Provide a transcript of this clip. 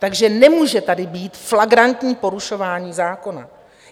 Takže nemůže tady být flagrantní porušování zákona.